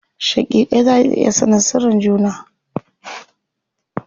Shaƙiƙai za su iya sanin sirrin juna.